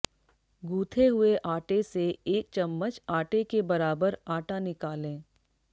गूथे हुए आटे से एक चम्मच आटे के बराबर आटा निकालें